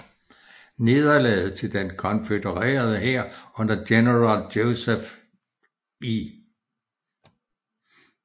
Nederlaget for den konfødererede hær under general Joseph E